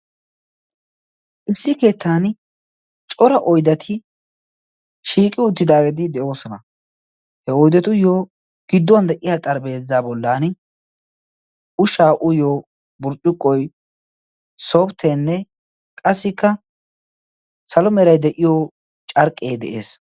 Issi keettan cora oidati shiiqi uttidaageedi de'oosona. he oydatuyyo gidduwan de'iya xaripheeza bollan ushaa uyiyo burccuqqoy sopttenne qassikka salomeerai de'iyo carqqee de'ees.